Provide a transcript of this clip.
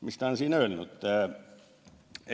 Mis ta on öelnud?